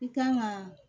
I kan ka